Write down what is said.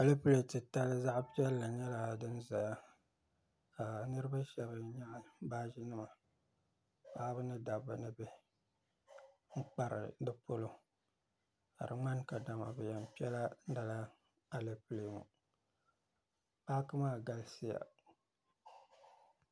Alepil' titali zaɣ' piɛlli nyɛla din zaya ka niriba shɛba nyaɣi baajinima paɣiba ni dabba ni bihi n-kpari di polo ka di ŋmani kadama bɛ yɛn kpɛla lala alepile ŋɔ paaki maa galisiya